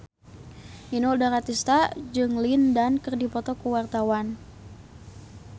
Inul Daratista jeung Lin Dan keur dipoto ku wartawan